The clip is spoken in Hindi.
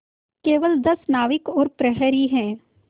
केवल दस नाविक और प्रहरी है